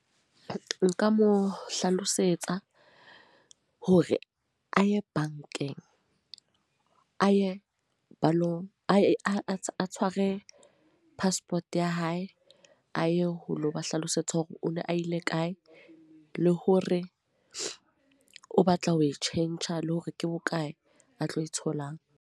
Nka mo hlalosetsa, hore a ye bankeng. A ye balo a tshware passport ya hae. A ye ho lo ba hlalosetsa hore o ne a ile kae. Le hore o batla ho e tjhentjha, le hore ke bokae a tlo e tholang.